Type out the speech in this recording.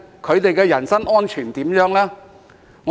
他們的人身安全如何呢？